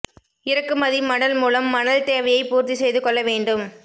இறக்குமதி மணல் மூலம் மணல் தேவையை பூர்த்தி செய்து கொள்ள வேண்டும்